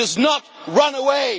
it. He does not run away.